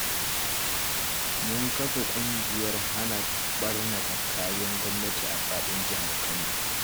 Mun kafa ƙungiyar hana ɓarnata kayan gwamnati a faɗin Jihar Kano